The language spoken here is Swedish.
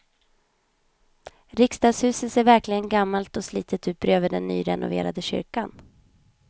Riksdagshuset ser verkligen gammalt och slitet ut bredvid den nyrenoverade kyrkan.